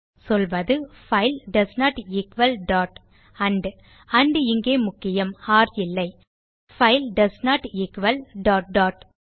சொல்வது file doesn't equal dot and and இங்கே முக்கியம் ஒர் இல்லை -file doesn't equal dot dot